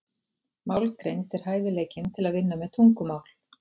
Málgreind er hæfileikinn til að vinna með tungumál.